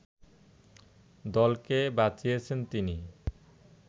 দলকে বাঁচিয়েছেন তিনি